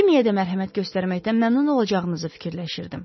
Cimmeyə də mərhəmət göstərməkdən məmnun olacağınızı fikirləşirdim.